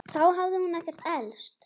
Þá hafði hún ekkert elst.